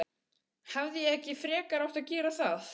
Hefði ég ekki frekar átt að gera það?